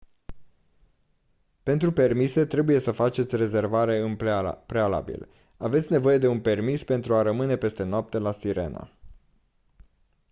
pentru permise trebuie să faceți rezervare în prealabil aveți nevoie de un permis pentru a rămâne peste noapte la sirena